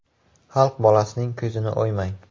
Xalq bolasining ko‘zini o‘ymang.